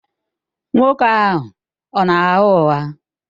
Nwoke ahụ ọ na-agha ụgha?